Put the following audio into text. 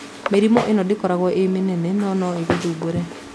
Mĩrimũ ĩno ndĩkoragwo ĩ mĩnene no noĩgũthumbũre.